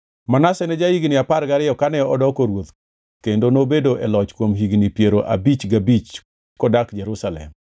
Manase ne ja-higni apar gariyo kane odoko ruoth kendo nobedo e loch kuom higni piero abich gabich kodak Jerusalem.